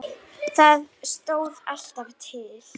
Það stóð alltaf til.